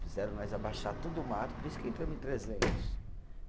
Fizeram nós abaixar todo o mato, por isso que entramos em trezentos.